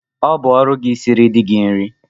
Ọ bụ ọrụ gị isiri di gị nri!